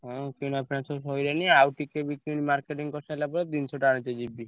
ହଁ କିଣାଫିଣା ସବୁ ସଇଲାଣି ଆଉ ଟିକେ ବି marketing କରିସାରିଲା ପରେ ଜିନିଷଟା ଆଣିତେ ଯିବି।